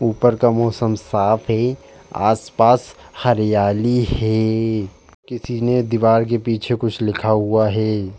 ऊपर का मौसम साफ है। आस-पास हरियाली हैं। किसी ने दीवार के पीछे कुछ लिखा हुआ है।